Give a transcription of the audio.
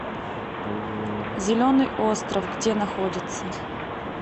зеленый остров где находится